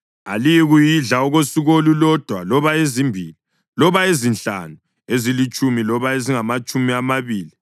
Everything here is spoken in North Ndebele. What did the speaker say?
Aliyikuyidla okosuku olulodwa loba ezimbili, loba ezinhlanu, ezilitshumi loba ezingamatshumi amabili,